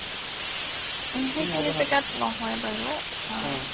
সিখিনি জাগাত নহয় বাৰু